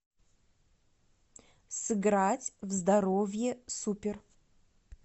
сыграть в здоровье супер